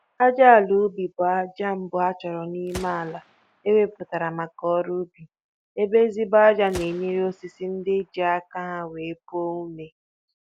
Ájá àlà ubi bụ ájá mbụ a chọrọ n'ime àlà eweputara maka ọrụ ubi, ébé ezigbo ájá n'enyere osisi ndị nke jì aka ha wéé puo ome